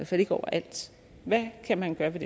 fald ikke overalt hvad kan man gøre ved